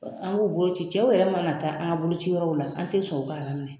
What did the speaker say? An' b'u boloci cɛw yɛrɛ mana taa an ka bolociyɔrɔw la an tɛ sɔn u ka minɛ